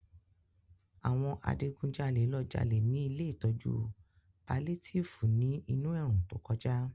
Àwọn adigunjalè ló jalè ní Ilé ìtọ́jú palétíìfù ní inú ẹ̀rùn tó kọjá